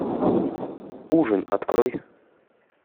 ужин открой